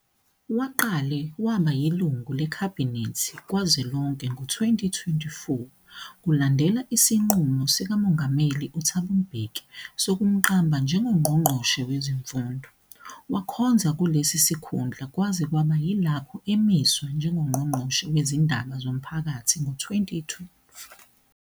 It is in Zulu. Waqale waba yilungu leKhabhinethi kazwelonke ngo-2004, kulandela isinqumo sikaMongameli UThabo Mbeki sokumqamba njengoNgqongqoshe Wezemfundo. Wakhonza kulesi sikhundla kwaze kwaba yilapho emiswa njengoNgqongqoshe Wezindaba Zomphakathi ngo-2012.